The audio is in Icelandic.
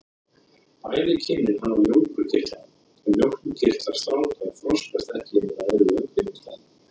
Bæði kynin hafa mjólkurkirtla en mjólkurkirtlar stráka þroskast ekki undir eðlilegum kringumstæðum.